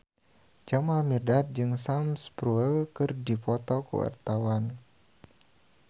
Jamal Mirdad jeung Sam Spruell keur dipoto ku wartawan